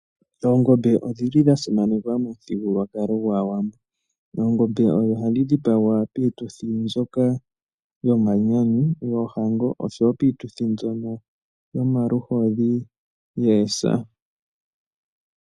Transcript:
Oongombe odhili dha simanekwa momuthigululwakalo gwAawambo. Oongombe odho hadhi dhipagwa piituthi mbyoka yomanyanyu ,yeehango oshowo piituthi mbyono yomaluhodhi neesa.